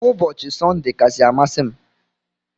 Ụbọchi sunday kasi amasi mu.